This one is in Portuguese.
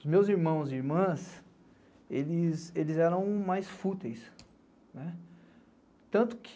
Os meus irmãos e irmãs, eles eram mais fúteis.